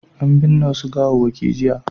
An binne wasu gawawwaki jiya.